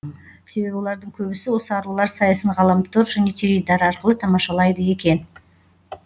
себебі олардың көбісі осы арулар сайысын ғаламтор және теледидар арқылы тамашалайды екен